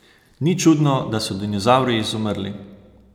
Ni čudno, da so dinozavri izumrli.